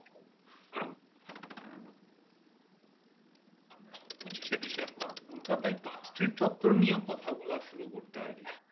পঁচিশ শে ডিসেম্বর কলকাতা আই পশ্চির তথ্য নিয়ে কথা বলা শুরু করতে হবে